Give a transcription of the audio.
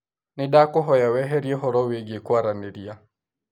Nĩndakũhoya weherie ũhoro wĩgiĩ kwaranĩria